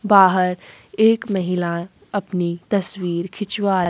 बाहर एक महिला अपनी तस्वीर खिंचवा --